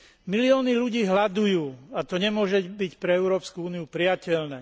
Milióny ľudí hladujú a to nemôže byť pre Európsku úniu prijateľné.